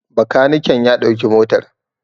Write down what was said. Bakaniken ya ɗauki motar